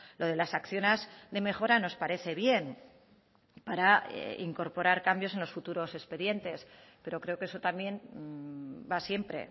lo de las acciones de mejora nos parece bien para incorporar cambios en los futuros expedientes pero creo que eso también va siempre